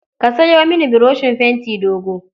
Ka sayo mini buroshin fenti dogo.